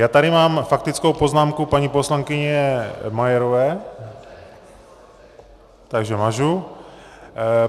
Já tady mám faktickou poznámku paní poslankyně Majerové, takže mažu.